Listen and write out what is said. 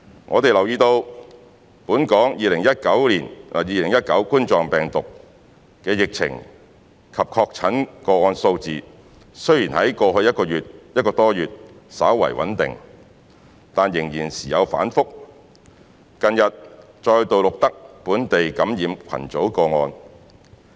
我們留意到本港2019冠狀病毒病的疫情及確診個案數字雖然在過去1個多月稍為穩定，但仍然時有反覆，近日再度錄得本地感染群組個案。